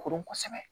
Koron kosɛbɛ